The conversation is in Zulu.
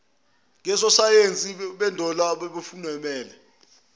ngososayensi bendalo abawufundele